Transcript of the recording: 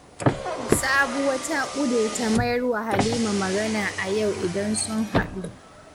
Sabuwa ta ƙudirce mayar wa Halima magana a yau idan sun haɗu